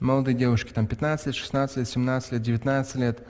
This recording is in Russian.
молодые девушки там пятнадцать лет шестнадцать лет семнадцать лет девянадцать лет